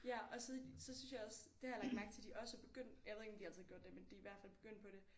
Ja og så så synes jeg også det har jeg lagt mærke til de også er begyndt jeg ved ikke om de altid har gjort det men de er i hvert fald begyndt på det